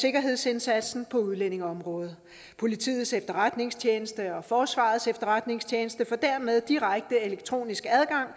sikkerhedsindsatsen på udlændingeområdet politiets efterretningstjeneste og forsvarets efterretningstjeneste får dermed direkte elektronisk